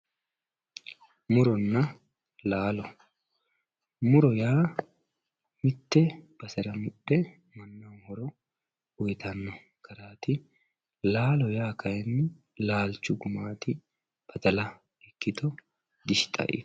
Muronna laalo muro yaa mitte basera mudhe noo horo uyitano garati laalo yaa kayini laalchu gumaati badala ikito gishixa iko